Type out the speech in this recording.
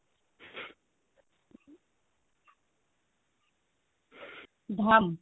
ଧଲ